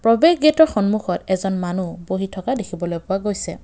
প্ৰৱেশ গেটৰ সন্মুখত এজন মানুহ বহি থকা দেখিবলৈ পোৱা গৈছে।